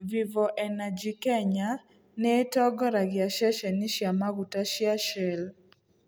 Vivo Energy Kenya nĩ ĩtongoragia ceceni cia maguta cia Shell.